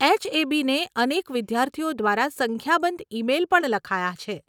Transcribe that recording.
એચએબીને અનેક વિદ્યાર્થીઓ દ્વારા સંખ્યાબંધ ઇ મેલ પણ લખાયાં છે.